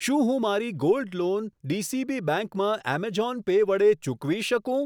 શું હું મારી ગોલ્ડ લોન ડીસીબી બેંક માં એમેઝોન પે વડે ચૂકવી શકું?